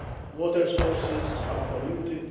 water sources are polluted